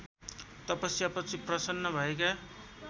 तपस्यापछि प्रसन्न भएका